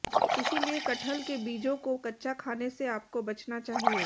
इसलिए कटहल के बीजों को कच्चा खाने से आपको बचना चाहिए